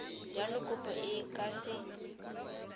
jalo kopo e ka se